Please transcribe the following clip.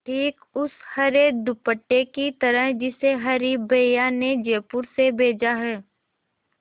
ठीक उस हरे दुपट्टे की तरह जिसे हरी भैया ने जयपुर से भेजा है